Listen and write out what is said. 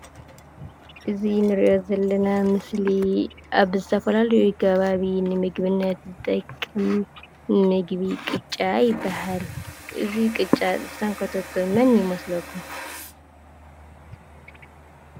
እዙይ እንርእዮ ዘለና ምስሊ ኣብ ዝተፈላለዩ ከባቢ ንምግብነት ዝጠቅም ምግቢ ቅጫ ይብሃል። እዙይ ቅጫ ዝሰንከቶቶ መን ይመስለኩም?